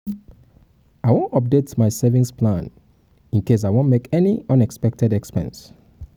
i wan update my savings plan in case i wan make any unexpected expense